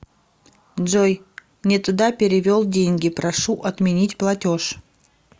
джой нетуда перевел деньги прошу отменить платеж